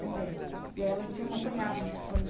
mulher. E aí ela te acompanhava quando?